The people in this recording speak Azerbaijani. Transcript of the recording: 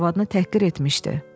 arvadını təhqir etmişdi.